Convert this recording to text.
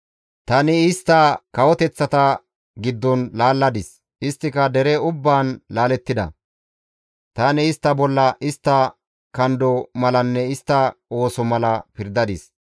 Tani istta kawoteththata giddon laalladis; isttika dere ubbaan laalettida; tani istta bolla istta kando malanne istta ooso mala pirdadis.